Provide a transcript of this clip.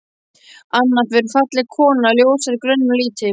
Anna var falleg kona, ljóshærð, grönn og lítil.